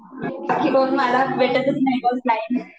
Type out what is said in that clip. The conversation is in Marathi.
बाकी मग मला भेटतच नाही ग टाइम